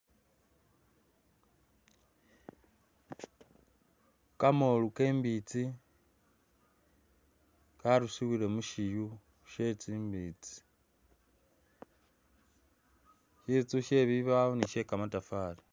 Kamolu kembitsi karusibirwe mushiyu shetsimbitsi sitsu shebibawo ni shekamatafali